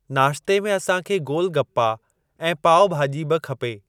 नाश्ते में असां खे गोलगप्पा ऐं पाव भाॼी बि खपे।